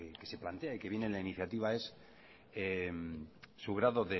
que se plantea y que viene en la iniciativa es su grado